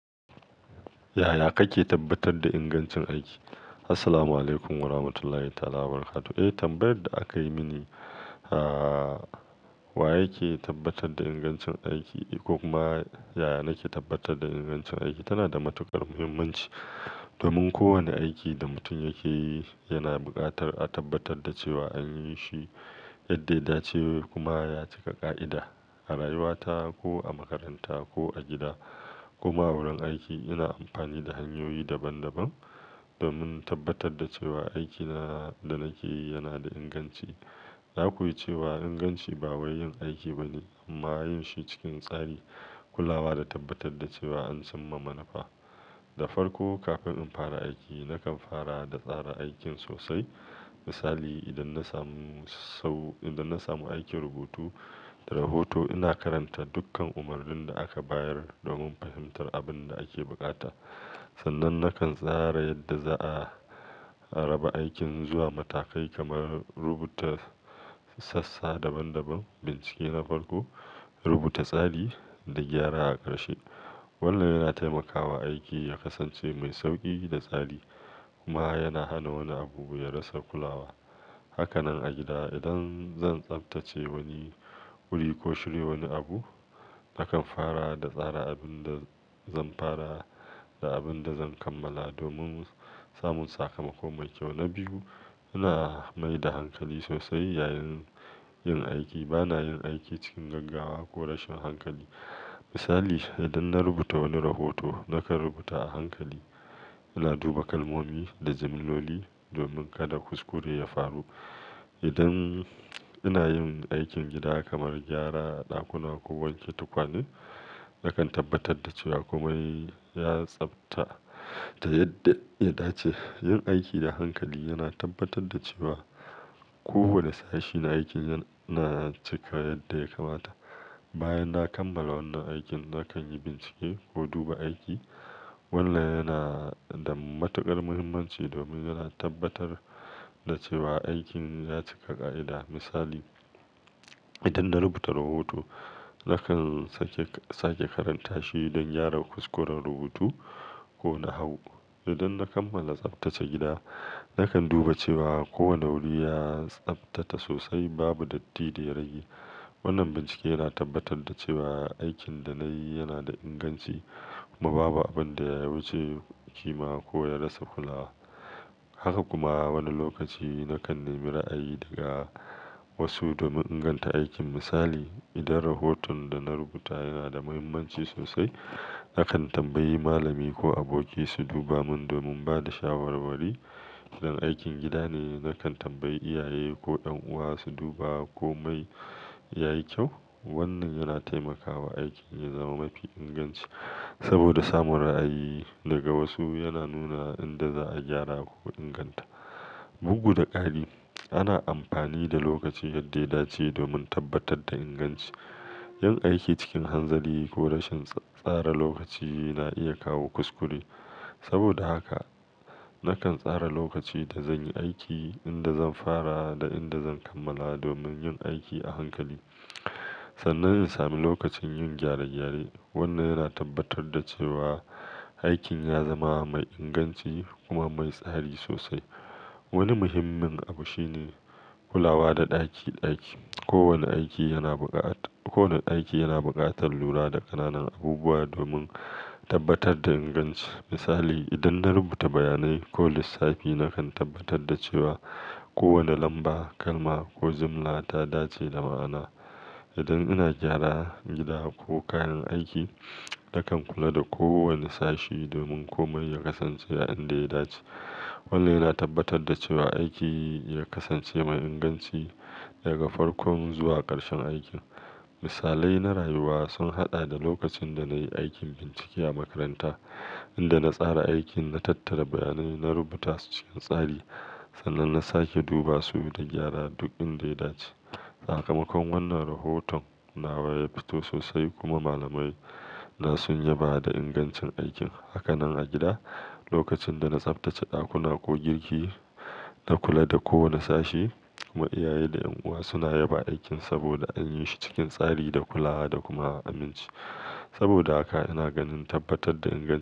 Yaya kake tabbatar da ingancin aiki? Assalamualaikum Warahmatullahi Ta'ala Wabarakatuh. Eh, tambayar da aka yi mini, ah. Wa ya ke tabbatar da ingancin aiki, ko kuma ya nake tabbatar da ingancin aiki. Ta na da matuƙar muhimmanci. Domin kowane aiki da mutum yake yi yana buƙatar a tabbatar da cewa an yi shi yadda ya dace kuma ya cika ƙa'ida. A rayuwata ko a makaranta ko a gida koma a wurin aiki ina amfani da hanyoyi daban-daban domin in tabbatar da cewa aiki na da nake yi yana da inganci. Zaku iya cewa inganci ba wai yin aiki bane amma yin shi cikin tsari, kulawa da tabbatar da cewa an cinma manufa. Da farko kafin in fara aiki na kan fara da tsara aikin sosai. Misali, idan na samu sau-- idan na samu aikin rubutu da rahoto ina karanta dukkan umarnin da aka bayar domin fahimtar abin da ake buƙata. Sannan nakan tsara yadda za a raba aikin zuwa matakai kamar rubuta sassa daban-daban, bincike na farko, rubuta tsari da gyara a ƙarshe. Wannan yana taimakawa aiki ya kasance mai sauƙi da tsari kuma yana hana wani abu ya rasa kulawa. Haka nan a gida idan zan tsabtace wani wuri ko shirya wani abu, nakan fara da tsara abin da zan fara da abin da zan kammala domin samun sakamako mai kyau. Na biyu, ina mai da hankali sosai yayin yin aiki. Ba na yin aiki cikin gaggawa ko rashin hankali. Misali, idan na rubuta wani rahoto nakan rubuta a hankali, ina duba kalmomi da jimilloli domin kada kuskure ya faru. Idan ina yin aikin gida kamar gyara ɗakuna ko wanke tukwane, nakan tabbatar da cewa komai ya tsabta ta yadda ya dace. Yin aiki da hankali yana tabbatar da cewa kowani sashi na aikin yana cika yadda ya kamata. Bayan na kammala wannan aikin, nakan yi bincike ko duba aiki. Wannan yana da matuƙar muhimmanci domin yana tabbatar da cewa aikin ya cika ƙa'ida. Misali, idan na rubuta rahoto nakan sake, sake karanta shi don gyara kuskuren rubutu ko na hau. Idan na kammala tsabtace gida nakan duba cewa kowani wuri ya tsabtata sosai babu datti da ya rage. Wannan bincike yana tabbatar da cewa aikin da na yi yana da inganci kuma babu abin da ya wuce kima ko ya rasa kulawa. Haka kuma wani lokaci nakan nemi ra'ayi daga wasu domin inganta aikin. Misali, idan rahoton da na rubuta yana da muhimmanci sosai nakan tambayi malami ko aboki su duba mun domin ba da shawarwari. Idan aikin gida ne nakan tambayi iyaye ko ƴan uwa su duba ko mai yayi kyau. Wannan yana taimakawa aikin ya zama mafi inganci saboda samun ra'ayi daga wasu yana nuna inda za'a gyara ko inganta. Bugu da ƙari, ana amfani da lokaci yadda ya dace domin tabbatar da inganci. Yin aiki cikin hanzari ko rashin tsara lokaci na iya kawo kuskure. Saboda haka nakan tsara lokaci da zan yi aiki, inda zan fara da inda zan kammala domin yin aiki a hankali. Sannan in sami lokacin yin gyare-gyare. Wannan yana tabbatar da cewa aikin ya zama mai inganci kuma mai tsari sosai. Wani muhimmin abu shine kulawa da ɗakiɗaki. Kowani aiki yana buƙatar-- kowani aiki yana buƙatar lura da ƙananan abubuwa domin tabbatar da inganci. Misali, idan na rubuta bayanai ko lissafi nakan tabbatar da cewa kowani lamba, kalma ko jimla ta dace da ma'ana. Idan ina gyara gida ko kayan aiki nakan kula da kowani sashi domin komai ya kasance a inda ya dace. Wannan yana tabbatar da cewa aiki ya kasance mai inganci daga farkon zuwa ƙarshen aikin. Misalai na rayuwa sun haɗa da lokacin da na yi aikin bincike a makaranta, inda na tsara aikin, na tattara bayanai, na rubuta su cikin tsari sannan na sake duba su da gyara duk inda ya dace. Sakamakon wannan rahoton nawa ya fito sosai kuma malamai na sun yaba da ingancin aikin. Haka nan a gida lokacin dana tsaftata ɗakuna ko girki na kula da kowani sashe. Kuma iyaye da ƴan uwa suna yaba aikin saboda an yi shi cikin tsari da kulawa da kuma aminci. Saboda haka ina ganin tabbatar da inganci.